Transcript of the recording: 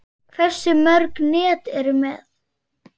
Hversu mörg net ertu með?